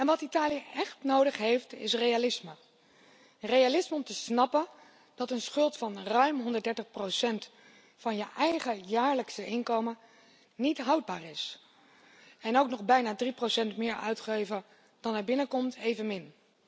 Wat Italië echt nodig heeft is realisme. Realisme om te snappen dat een schuld van ruim 130 van je eigen jaarlijkse inkomen niet houdbaar is en ook nog bijna 3 meer uitgeven dan er binnenkomt evenmin.